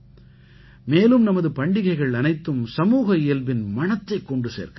மேலும் நமது பண்டிகைகள் அனைத்தும் சமூக இயல்பின் மணத்தைக் கொண்டு சேர்க்கின்றன